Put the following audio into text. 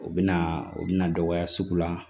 U bɛ na u bɛna dɔgɔya sugu la